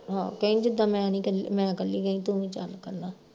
ਆਹੋ ਕਈ ਜਿੱਦਾਂ ਮੈਂ ਨੀ ਕੱਲੀ ਮੈਂ ਕੱਲੀ ਗਈ ਤੂੰ ਵੀ ਚੱਲ ਕੱਲਾ